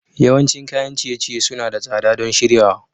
Yawancin kayan ciye-ciye suna da tsada don shiryawa.